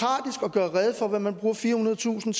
gøre rede for hvad man bruger firehundredetusind